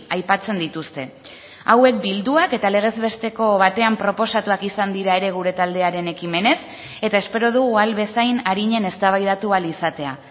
aipatzen dituzte hauek bilduak eta legez besteko batean proposatuak izan dira ere gure taldearen ekimenez eta espero dugu ahal bezain arinen eztabaidatu ahal izatea